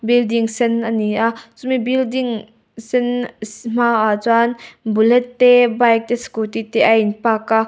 building sen ani a chumi building sen hmaah chuan bullet te bike te scooty te a in park a.